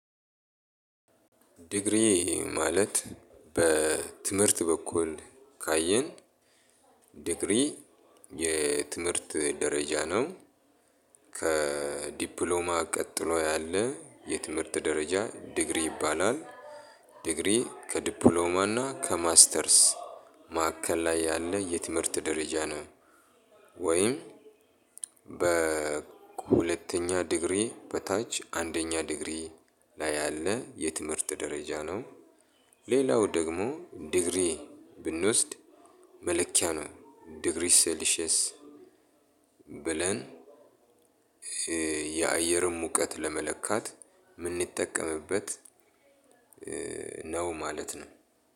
ዲግሪ ማለት በትምህርት በኩል ካየን ዲግሪ የትምህርት ደረጃ ነው ከዲፕሎማ ቀጥሎ ያለ የትምህርት ደረጃ ዲግሪ ይባላል። ዲግሪ ከዲፕሎማና ከማስተርስ ማዕከል ላይ ያለ የትምህርት ደረጃ ነው። ወይም በሁለተኛ ዲግሪ በታች አንደኛ ዲግሪ ላይ ያለ የትምህርት ደረጃ ነው። ሌላው ደግሞ ዲግሪ ብንወስድ መለኪያ ነው ዲግሪ ሴሊሺየስ። ብለን የአየርን ሙቀት ለመለካት የምንጠቀምበት ነው ማለት ነው።